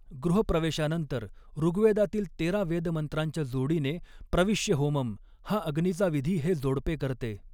गृहप्रवेशानंतर, ऋग्वेदातील तेरा वेदमंत्रांच्या जोडीने प्रविष्य होमम हा अग्नीचा विधी हे जोडपे करते.